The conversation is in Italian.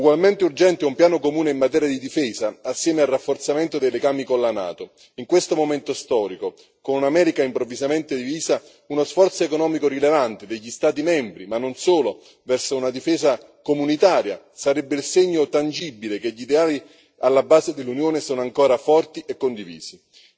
Ugualmente urgente è un piano comune in materia di difesa, assieme al rafforzamento dei legami con la NATO. In questo momento storico, con un'America improvvisamente divisa, uno sforzo economico rilevante degli Stati membri, ma non solo, verso una difesa comunitaria sarebbe il segno tangibile che gli ideali alla base dell'Unione sono ancora forti e condivisi.